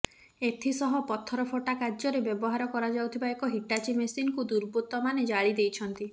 ଏଥିସହ ପଥରଫଟା କାର୍ଯ୍ୟରେ ବ୍ୟବହାର କରାଯାଉଥିବା ଏକ ହିଟାଚି ମେସିନକୁ ଦୁର୍ବୃତ୍ତମାନେ ଜାଳି ଦେଇଛନ୍ତି